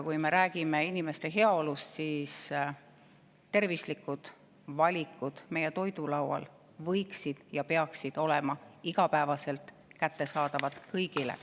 Kui me räägime inimeste heaolust, tervislikud valikud meie toidulaual võiksid olla ja peaksid olema igapäevaselt kättesaadavad kõigile.